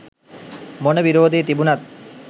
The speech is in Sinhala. මොන විරෝධය තිබුනත්